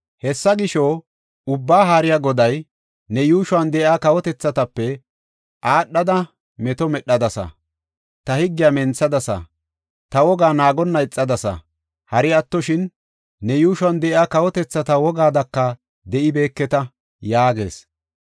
Hessa gisho, Ubbaa Haariya Goday, “Ne yuushuwan de7iya kawotethatape aadhada meto medhadasa; ta higgiya menthadasa; ta wogaa naagonna ixadasa. Hari attoshin, ne yuushuwan de7iya kawotethata wogaadaka de7ibeeketa” yaagees.